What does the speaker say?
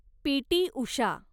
PT. Usha